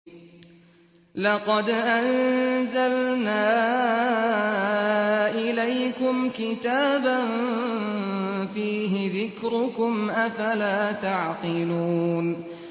لَقَدْ أَنزَلْنَا إِلَيْكُمْ كِتَابًا فِيهِ ذِكْرُكُمْ ۖ أَفَلَا تَعْقِلُونَ